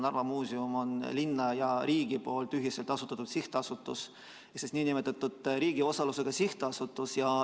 Narva Muuseum on linna ja riigi ühiselt asutatud sihtasutus, riigi osalusega sihtasutus.